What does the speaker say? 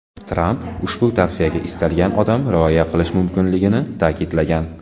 Tramp ushbu tavsiyaga istalgan odam rioya qilish mumkinligini ta’kidlagan.